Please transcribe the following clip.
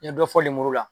N ye dɔ fɔ lemuru la